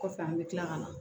Kɔfɛ an bɛ tila ka na